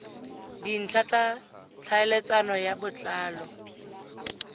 dintlha tsa tlhaeletsano ka botlalo